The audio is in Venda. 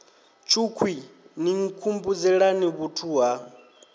tshukhwii ni nkhumbudzelani vhuthu ha